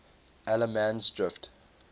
allemansdrift